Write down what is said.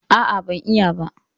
A'a, ban yi ba.